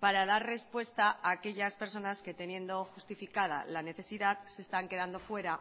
para dar respuesta a aquellas personas que teniendo justificada la necesidad se están quedando fuera